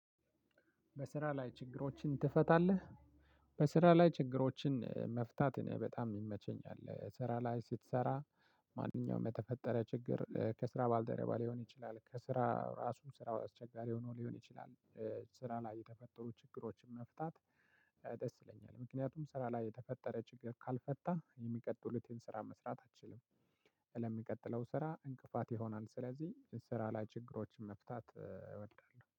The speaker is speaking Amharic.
በስራ ላይ ችግሮችን ትፈታለህ? በስራ ላይ ችግሮችን መፍታት እኔ በጣም ይመቸኛል። ስራ ላይ ስትሰራ። ማንኛውም የተፈጠረ ችግር ከስራ ባልደረባ ሊሆን ይችላል ከስራ ራሱ ስራው አስቸጋሪ ሆኖ ሊሆን ይችላል። ስራ ላይ የተፈጠሩ ችግሮችን መፍታት። ደስ ይለኛል ምክንያቱም ስራ ላይ የተፈጠረ ችግር ካልፈታህ የሚቀጥሉትን ስራ መስራት አትችልም። ለሚቀጥለው ስራ እንቅፋት ይሆናል። ስለዚህ ስራ ላይ ችግሮችን መፍታት እወዳለሁ